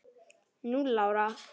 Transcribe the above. Núll ára!